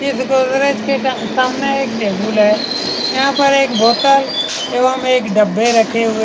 इस गोदरेज के सामने एक टेबुल है यहाँ पर एक बोटल एवं एक डब्बे रखे हुए हैं।